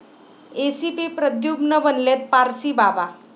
ACP Pradyuman बनलेत पारसीबाबा!